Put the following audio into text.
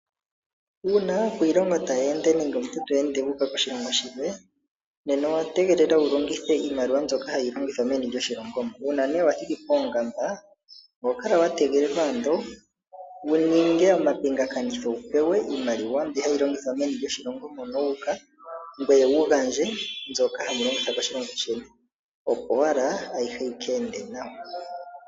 Uuna aakwiilongo taya ende, nenge omuntu to ende wu uka koshilongo shilwe, nena owa tegelelwa wu longithe iimaliwa mbyoka hayi longithwa meni lyoshilongo mo. Uuna nee wa thiki poongamba, oho kala wa tegelelwa ando wu ninge omapingakanitho wu pewa iimaliwa mbi hayi longithwa meni lyoshilongo mono wu uka, ngoye wu gandje mbyoka hayi longithwa koshilongo sheni, opo owala ayihe yi ka ende nawa.